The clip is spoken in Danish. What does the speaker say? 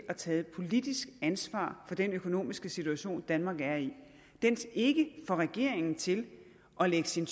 at tage et politisk ansvar for den økonomiske situation danmark er i ikke får regeringen til at lægge sin